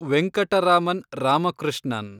Venkataraman Ramakrishnan